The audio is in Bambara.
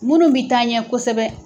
Muru bɛ taa ɲɛ kosɛbɛ.